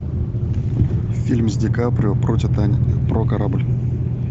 фильм с ди каприо про титаник про корабль